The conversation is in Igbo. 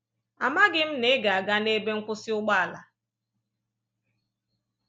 Amaghị m na ị ga-aga n’ebe nkwụsị ụgbọala.